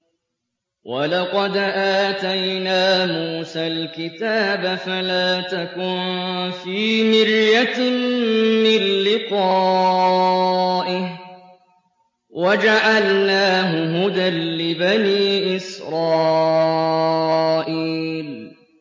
وَلَقَدْ آتَيْنَا مُوسَى الْكِتَابَ فَلَا تَكُن فِي مِرْيَةٍ مِّن لِّقَائِهِ ۖ وَجَعَلْنَاهُ هُدًى لِّبَنِي إِسْرَائِيلَ